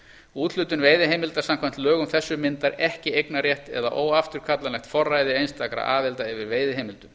úthlutun veiðiheimilda samkvæmt lögum þessum myndar ekki eignarrétt eða óafturkallanlegt forræði einstakra aðila yfir veiðiheimildum